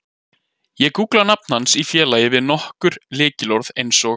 Ég gúggla nafn hans í félagi við nokkur lykilorð eins og